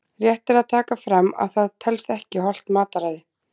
Rétt er að taka fram að það telst ekki hollt mataræði!